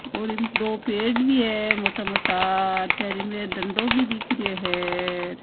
और इम दो पेड़ भी है मोटा मोटा र चारो मेर ढंडो भी दिख रहियो है।